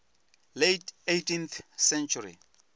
late eighteenth century